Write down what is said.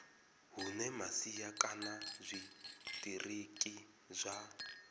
hune masia kana zwitiriki zwa